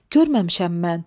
Görməmişəm mən.